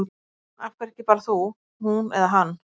Af hverju ekki bara þú, hún eða hann?